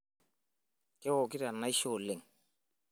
Kewokito enaisho oleng.